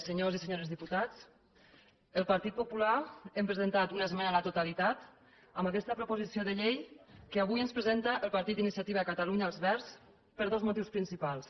senyors i senyores diputats el partit popular hem presentat una esmena a la totalitat en aquesta proposició de llei que avui ens presenta el partit d’iniciativa per catalunya verds per dos motius principals